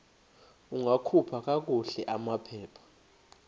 ungakhupha kakuhle amaphepha